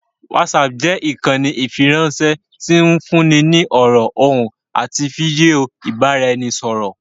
Whatsapp jẹ́ ìkànnì ìfiránṣẹ́ tí ń fúnni ní ọ̀rọ̀, ohùn àti fídíò ìbá'r'ẹnisọ̀rọ̀